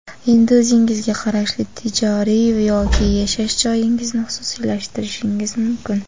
Endi o‘zingizga qarashli tijoriy yoki yashash joyingizni xususiylashtirishingiz mumkin.